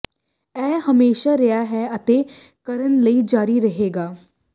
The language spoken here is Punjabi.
ਇਹ ਹਮੇਸ਼ਾ ਰਿਹਾ ਹੈ ਅਤੇ ਕਰਨ ਲਈ ਜਾਰੀ ਰਹੇਗਾ